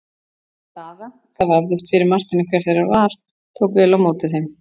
Kona Daða, það vafðist fyrir Marteini hver þeirra það var, tók vel á móti þeim.